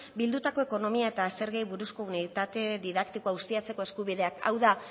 bildutako ekonomia eta zergei buruzko unitate didaktikoa ustiatzeko eskubideak hau da